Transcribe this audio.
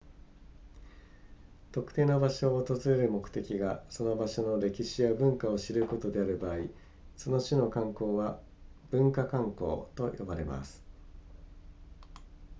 特定の場所を訪れる目的がその場所の歴史や文化を知ることである場合その種の観光は文化観光と呼ばれます